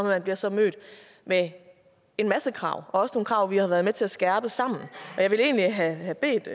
man bliver så mødt med en masse krav også nogle krav vi har været med til at skærpe sammen jeg ville egentlig have bedt